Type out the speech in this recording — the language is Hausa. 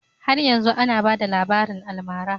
Har yanzu ana bada rabarin almara